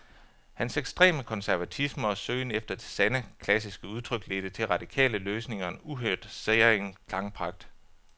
Hans ekstreme konservatisme og søgen efter det sande, klassiske udtryk ledte til radikale løsninger og en uhørt, særegen klangpragt.